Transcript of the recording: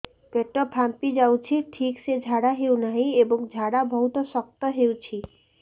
ପେଟ ଫାମ୍ପି ଯାଉଛି ଠିକ ସେ ଝାଡା ହେଉନାହିଁ ଏବଂ ଝାଡା ବହୁତ ଶକ୍ତ ହେଉଛି